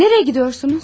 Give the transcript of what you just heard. Nereyə gediyorsunuz?